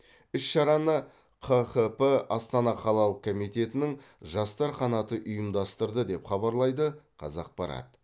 іс шараны қхп астана қалалық комитетінің жастар қанаты ұйымдастырды деп хабарлайды қазақпарат